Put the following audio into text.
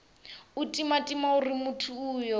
u timatima uri muthu uyo